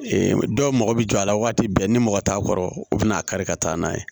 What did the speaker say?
dɔw mago bɛ jɔ a la waati bɛɛ ni mɔgɔ t'a kɔrɔ u bɛna'a kari ka taa n'a ye